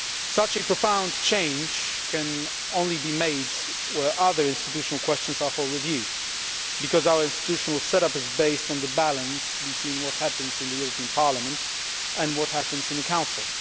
Such a profound change can only be made when other institutional questions are up for review, because our institutional set up is based on the balance between what happens in the European Parliament and what happens in the Council.